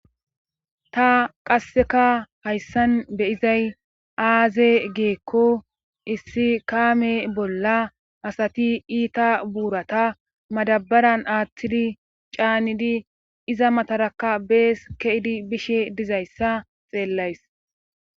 ta qasseka hayssan beyizay aaze giikko issi kaame bolla asati iita buurata madabaran aathtidi caanidi iza matarakka bees keidi bishe dizayssa xeellays